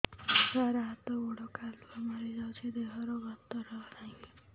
ସାର ହାତ ଗୋଡ଼ କାଲୁଆ ମାରି ଯାଉଛି ଦେହର ଗତର ନାହିଁ